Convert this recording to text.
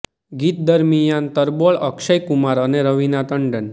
ગીત દરમિયાન તરબોળ અક્ષય કુમાર અને રવીના ટંડન